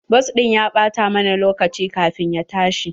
Bas ɗin ya ɓata mana lokaci kafin ya tashi.